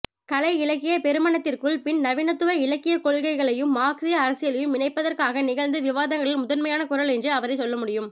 கலையிலக்கியப்பெருமனறத்திற்குள் பின்நவீனத்துவ இலக்கியக்கொள்கைகளையும் மார்க்ஸிய அரசியலையும் இணைப்பதற்காக நிகழ்ந்த விவாதங்களில் முதன்மையான குரல் என்று அவரைச் சொல்லமுடியும்